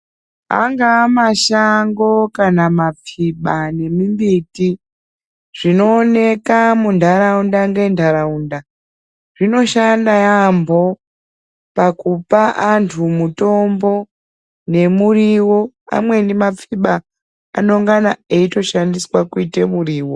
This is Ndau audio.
Anga mashango kana mapfiba nemimbiti zvinooneka munharaunda ngenharaunda zvinoshanda yaamho pakupa anhu mutombo nemuriwo ,amweni mapfiba anonga eitoshandiswe kuite muriwo.